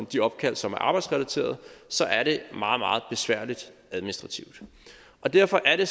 de opkald som er arbejdsrelaterede så er det meget meget besværligt administrativt derfor er det